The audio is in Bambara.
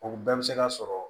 O bɛɛ bɛ se ka sɔrɔ